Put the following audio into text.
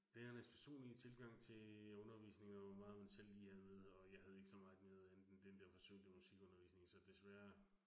Lærernes personlige tilgang til undervisning, og hvor meget man selv lige havde med, og jeg havde ikke så meget med andet end den dér forsømte musikundervisning, så desværre